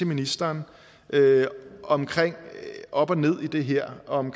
ministeren om op og ned i det her og om